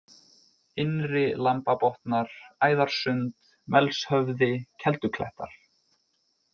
Innri-Lambabotnar, Æðarsund, Melshöfði, Kelduklettar